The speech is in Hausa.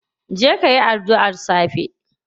Je kayi adduar safe.